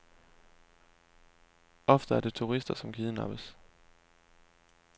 Ofte er det turister, som kidnappes.